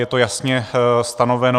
Je to jasně stanoveno.